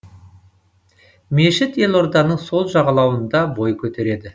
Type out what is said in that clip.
мешіт елорданың сол жағалауында бой көтереді